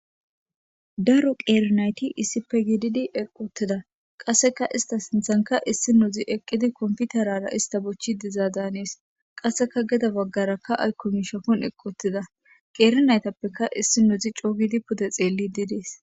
daro qeeri nayti iisipe giididi eqoteda qasseka ista sinthanka issi nuzi eqqidi komputarara ista bochchi dizaa daanees qasseka geda baggarakka aykomishafon eqotida qeerinaytappeka issi nudzi coogidi pude xeelli diidees